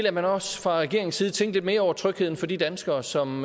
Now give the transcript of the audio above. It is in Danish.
at man også fra regeringens side tænkte lidt mere over trygheden for de danskere som